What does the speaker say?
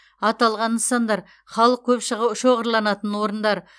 аталған нысандар халық көп шоғырланатын орындар